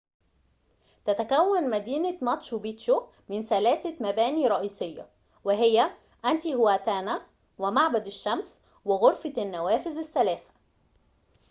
تتكون مدينة ماتشو بيتشو من ثلاثة مبانٍ رئيسية وهي إنتيهواتانا ومعبد الشمس وغرفة النوافذ الثلاثة